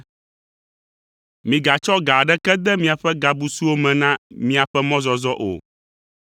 “Migatsɔ ga aɖeke de miaƒe gabusuwo me na miaƒe mɔzɔzɔ o,